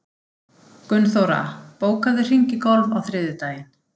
Gunnþóra, bókaðu hring í golf á þriðjudaginn.